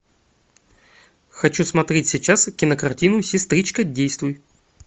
хочу смотреть сейчас кинокартину сестричка действуй